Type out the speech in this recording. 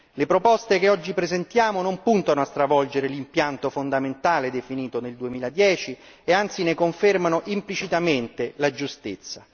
Le proposte che oggi presentiamo non puntano a stravolgere l'impianto fondamentale definito nel 2010 e anzi ne confermano implicitamente la giustezza.